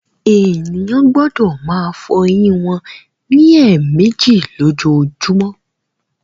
Ènìyàn gbọdọ máa fọ ẹyìn wọn ní èèmejì lójoojúmó